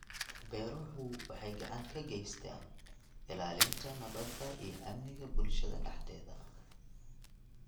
Beeruhu waxay gacan ka geystaan ??ilaalinta nabadda iyo amniga bulshada dhexdeeda.